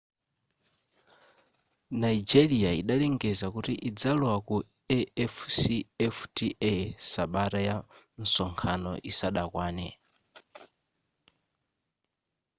nigeria idalengeza kuti idzalowa ku afcfta sabata ya msonkhano isadakwane